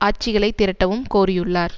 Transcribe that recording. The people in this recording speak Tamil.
ஆட்சிகளை திரட்டவும் கோரியுள்ளார்